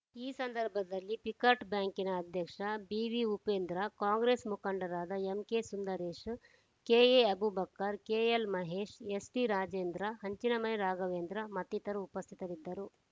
ಈ ಸಂದರ್ಭದಲ್ಲಿ ಪಿಕಾರ್ಡ್‌ ಬ್ಯಾಂಕಿನ ಅಧ್ಯಕ್ಷ ಬಿವಿ ಉಪೇಂದ್ರ ಕಾಂಗ್ರೆಸ್‌ ಮುಖಂಡರಾದ M K Sundaresh K A Abubakar K L Mahesh S D Rajendra Hanchinamane Raghavendra ಮತ್ತಿತರರು ಉಪಸ್ಥಿತರಿದ್ದರು